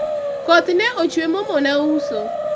koth ne ochwe momona uso